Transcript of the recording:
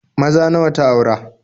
Maza nawa ta aura?